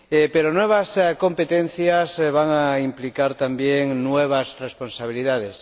Pero las nuevas competencias van a implicar también nuevas responsabilidades.